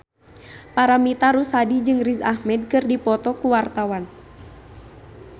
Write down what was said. Paramitha Rusady jeung Riz Ahmed keur dipoto ku wartawan